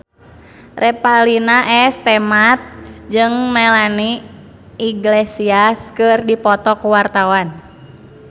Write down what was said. Revalina S. Temat jeung Melanie Iglesias keur dipoto ku wartawan